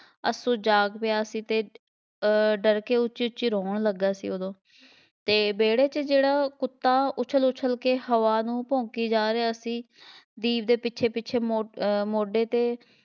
ਅੱਸੂ ਜਾਗ ਪਿਆ ਸੀ ਅਤੇ ਅਹ ਡਰਕੇ ਉੱਚੀ ਉੱਚੀ ਰੋਣ ਲੱਗਾ ਸੀ ਉਦੋਂ ਅਤੇ ਵਿਹੜੇ ਜਿਹੜਾ ਕੁੱਤਾ ਉੱਛਲ ਉੱਛਲ ਕੇ ਹਵਾ ਨੂੰ ਭੌਂਕੀ ਜਾ ਰਿਹਾ ਸੀ, ਦੀਪ ਦੇ ਪਿੱਛੇ ਪਿੱਛੇ ਮੋ~ ਅਹ ਮੋਢੇ 'ਤੇ